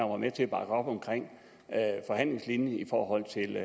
var med til at bakke op om forhandlingslinjen i forhold til